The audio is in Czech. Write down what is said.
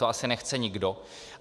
To asi nechce nikdo.